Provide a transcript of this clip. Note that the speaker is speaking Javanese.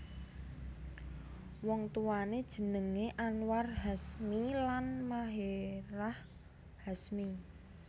Wong tuwané jenengé Anwar Hashmi lan Maherahh Hasmi